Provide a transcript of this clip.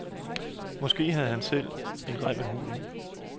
Måske havde han selv en rem af huden.